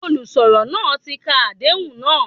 Olùsọ̀rọ̀ náà tí ka Àdéhùn náà.